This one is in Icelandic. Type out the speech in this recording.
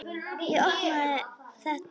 Ég opna það ekki.